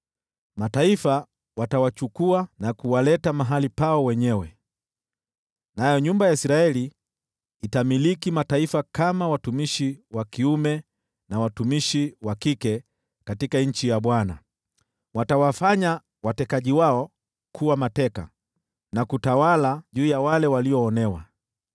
Mataifa watawachukua na kuwaleta mahali pao wenyewe. Nayo nyumba ya Israeli itamiliki mataifa kama watumishi na wajakazi katika nchi ya Bwana . Watawafanya watekaji wao kuwa mateka, na kutawala juu ya wale waliowaonea.